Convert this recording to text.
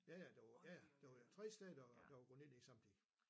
Ja ja det var ja ja det var jo 3 steder der var gået ned lige samtidig